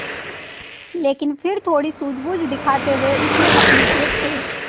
लेकिन फिर थोड़ी सूझबूझ दिखाते हुए उसने अपनी जेब से